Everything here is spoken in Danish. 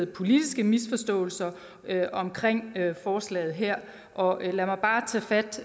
politiske misforståelser omkring forslaget her og lad mig bare tage fat